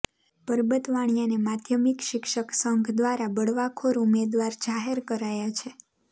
પરબત વાણીયાને માધ્યમિક શિક્ષક સંઘ દ્વારા બળવાખોર ઉમેદવાર જાહેર કરાયા છે